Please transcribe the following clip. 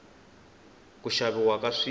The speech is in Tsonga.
ku xaviwa ka swilo